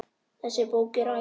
Þessi bók er æði.